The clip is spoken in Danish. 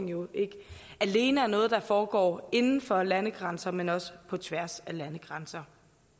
jo ikke alene er noget der foregår inden for landegrænser men også på tværs af landegrænser